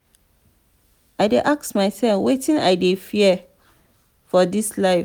i dey ask mysef wetin i dey fear for dis life.